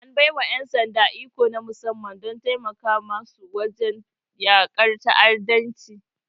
An bai wa ƴan sanda iko na musamman don taimaka musu wajen yakar ta'addanci.